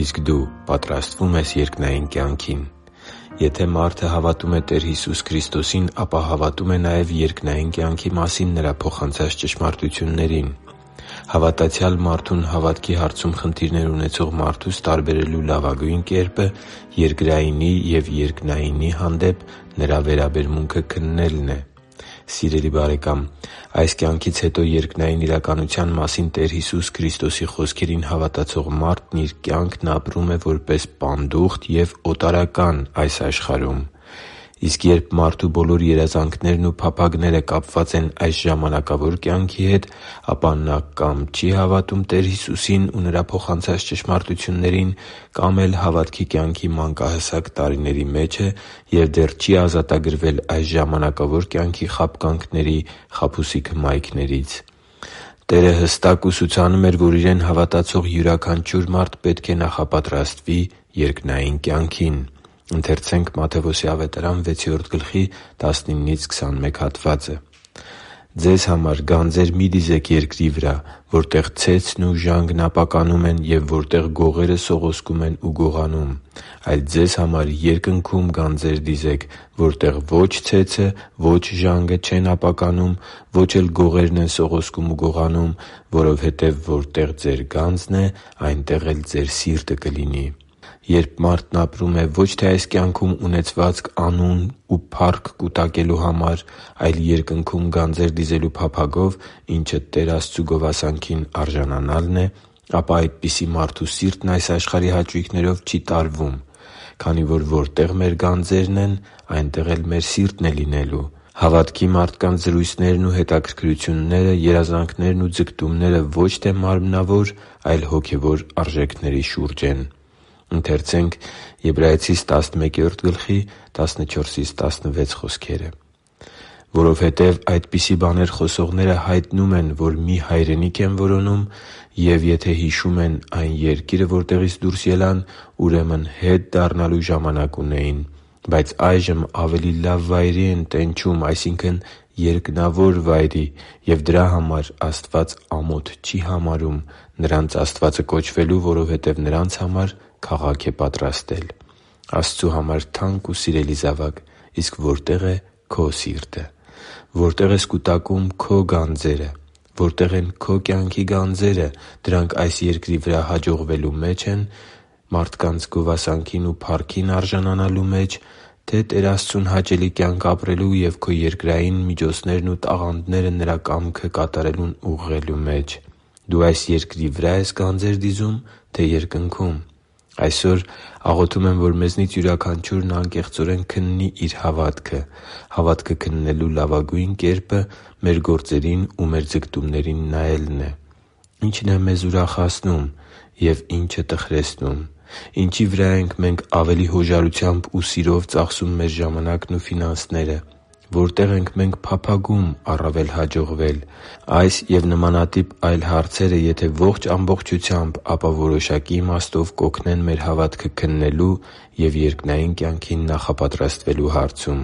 Իսկ դու պատրաստվո՞ւմ ես երկնային կյանքին Եթե մարդը հավատում է Տեր Հիսուս Քրիստոսին, ապա հավատում է նաև երկնային կյանքի մասին Նրա փոխանցած ճշմարտություններին։ Հավատացյալ մարդուն հավատքի հարցում խնդիրներ ունեցող մարդուց տարբերելու լավագույն կերպը երկրայինի և երկնայինի հանդեպ նրա վերաբերմունքը քննելն է։ Սիրելի՛ բարեկամ, այս կյանքից հետո երկնային իրականության մասին Տեր Հիսուս Քրիստոսի խոսքերին հավատացող մարդն իր կյանքն ապրում է որպես պանդուխտ և օտարական այս աշխարհում։ Իսկ երբ մարդու բոլոր երազանքներն ու փափագները կապված են այս ժամանակավոր կյանքի հետ, ապա նա կա՛մ չի հավատում Տեր Հիսուսին ու Նրա փոխանցած ճշմարտություններին, կա՛մ էլ հավատքի կյանքի մանկահասակ տարիների մեջ է և դեռ չի ազատվել այս ժամանակավոր կյանքի խաբկանքների խաբուսիկ հմայքներից։ Տերը հստակ ուսուցանում էր, որ Իրեն հավատացող յուրաքանչյուր մարդ պետք է նախապատրաստվի երկնային կյանքին․ «Ձեզ համար գանձեր մի՛ դիզեք երկրի վրա, որտեղ ցեցն ու ժանգն ապականում են, և որտեղ գողերը սողոսկում են ու գողանում։ Այլ ձեզ համար երկնքո՛ւմ գանձեր դիզեք, որտեղ ո՛չ ցեցը, ո՛չ ժանգը չեն ապականում, ո՛չ էլ գողերն են սողոսկում ու գողանում. որովհետև որտեղ ձեր գանձն է, այնտեղ էլ ձեր սիրտը կլինի» (Մատթեոս 6.19-21)։ Երբ մարդն ապրում է ո՛չ թե այս կյանքում ունեցվածք, անուն ու փառք կուտակելու համար, այլ Երկնքում գանձեր դիզելու փափագով, ինչը Տեր Աստծու գովասանքին արժանանալն է, ապա այդպիսի մարդու սիրտն այս աշխարհի հաճույքներով չի տարվում, քանի որ որտեղ մեր գանձերն են, այնտեղ էլ մեր սիրտն է լինելու։ Հավատքի մարդկանց զրույցներն ու հետաքրքրությունները, երազանքներն ու ձգտումները ո՛չ թե մարմնավոր, այլ հոգևոր արժեքների շուրջ են։ «Որովհետև այդպիսի բաներ խոսողները հայտնում են, որ մի հայրենիք են որոնում։ Եվ եթե հիշում էին այն երկիրը, որտեղից դուրս ելան, ուրեմն հետ դառնալու ժամանակ ունեին։ Բայց այժմ ավելի լավ վայրի են տենչում, այսինքն՝ երկնավոր վայրի, և դրա համար Աստված ամոթ չի համարում նրանց Աստվածը կոչվելու, որովհետև նրանց համար քաղաք է պատրաստել» (Եբրայեցիս 11.14-16)։ Աստծու համար թանկ ու սիրելի՛ զավակ, իսկ որտե՞ղ է քո՛ սիրտը։ Որտե՞ղ ես կուտակում քո՛ գանձերը։ Որո՞նք են քո կյանքի գանձերը։ Դրանք այս երկրի վրա հաջողվելո՞ւ մեջ են, մարդկանց գովասանքին ու փառքին արժանանալո՞ւ մեջ, թե՞ Տեր Աստծուն հաճելի կյանք ապրելու և քո երկրային միջոցներն ու տաղանդները Նրա կամքը կատարելուն ուղղելու մեջ։ Դու այս երկրի վրա՞ ես գանձեր դիզում, թե՞ երկնքում։ Այսօր աղոթում եմ, որ մեզնից յուրաքանչյուրն անկեղծորեն քննի իր հավատքը։ Հավատքը քննելու լավագույն կերպը մեր գործերին ու մեր ձգտումներին նայելն է։ Ի՞նչ է մեզ ուրախացնում և ի՞նչը՝ տխրեցնում։ Ինչի՞ վրա ենք մենք ավելի հոժարությամբ ու սիրով ծախսում մեր ժամանակն ու ֆինանսները։ Որտե՞ղ ենք փափագում առավել հաջողվել․․․ Այս և նմանատիպ հարցերը եթե ոչ ամբողջությամբ, ապա որոշակի իմաստով կօգնեն մեր հավատքը քննելու և երկնային կյանքին նախապատրաստվելու հարցում։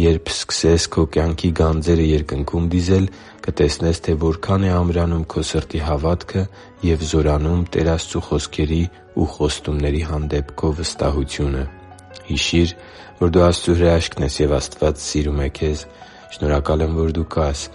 Երբ սկսես քո կյանքի գանձերը Երկնքում դիզել, կտեսնես, թե որքան է ամրանում քո սրտի հավատքը և զորանում Տեր Աստծու խոսքերի ու խոստումների հանդեպ քո վստահությունը։ Հիշի՛ր, որ դու Աստծո հրաշքն ես, և Աստված սիրում է քեզ։ Շնորհակալ եմ, որ դու կա՛ս